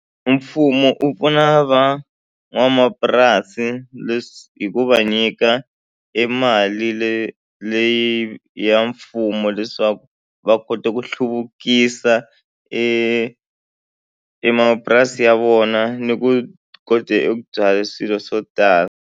Mfumo wu pfuna van'wamapurasi leswi hi ku va nyika emali le leyi ya mfumo leswaku va kota ku hluvukisa emapurasini ya vona ni ku kote ku byala swilo swo tala.